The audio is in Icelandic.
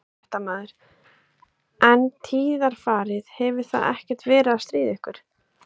Fréttamaður: En tíðarfarið, hefur það ekkert verið að stríða ykkur?